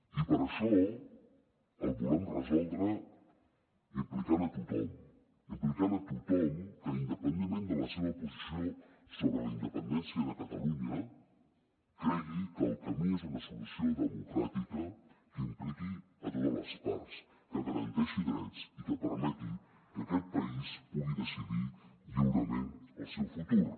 i per això el volem resoldre implicant a tothom implicant a tothom que independentment de la seva posició sobre la independència de catalunya cregui que el camí és una solució democràtica que impliqui a totes les parts que garanteixi drets i que permeti que aquest país pugui decidir lliurement el seu futur